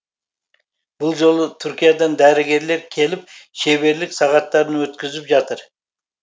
бұл жолы түркиядан дәрігерлер келіп шеберлік сағаттарын өткізіп жатыр